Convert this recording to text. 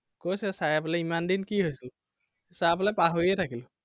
কৈছে sir এ বোলে ইমান দিন কি হৈছিল? sir বোলে পাহৰিয়ে থাকিলো।